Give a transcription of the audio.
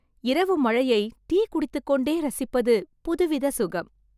இரவு மழையை டீ குடித்துக்கொண்டே இரசிப்பது புதுவித சுகம்